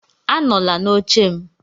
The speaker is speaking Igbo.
Anọla n'oche m